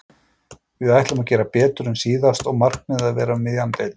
Við ætlum að gera betur en síðast og markmiðið að verða um miðja deild.